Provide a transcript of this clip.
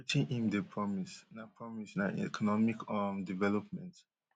wetin im dey promise na promise na economic um development